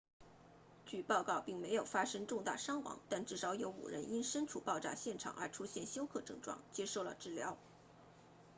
据报告并没有发生重大伤亡但至少有5人因身处爆炸现场而出现休克症状接受了治疗